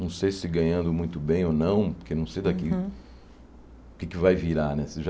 Não sei se ganhando muito bem ou não, porque não sei daqui Uhum O que é que vai virar, né? Se já